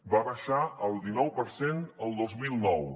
va baixar al dinou per cent el dos mil nou